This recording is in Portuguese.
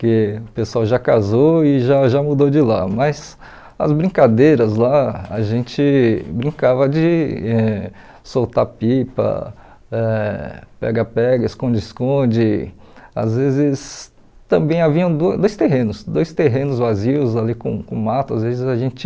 Que o pessoal já casou e já já mudou de lá, mas as brincadeiras lá, a gente brincava de eh soltar pipa, ãh pega-pega, esconde-esconde, às vezes também haviam do dois terrenos, dois terrenos vazios ali com com mato, às vezes a gente...